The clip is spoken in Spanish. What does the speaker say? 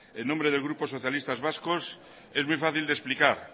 en nombre del grupo socialistas vascos es muy fácil de explicar